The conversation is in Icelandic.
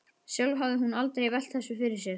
Sjálf hafði hún aldrei velt þessu fyrir sér.